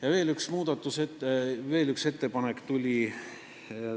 Ja veel üks ettepanek tuli.